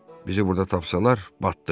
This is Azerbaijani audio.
Bizi burada tapsalar, batdıq.